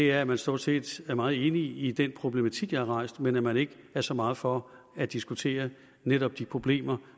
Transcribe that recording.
er at man stort set er meget enig i den problematik jeg har rejst men at man ikke er så meget for at diskutere netop de problemer